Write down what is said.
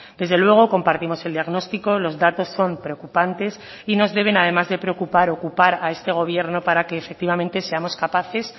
desde luego compartimos el diagnostico los datos son preocupantes y nos deben además de preocupar ocupar a este gobierno para que efectivamente seamos capaces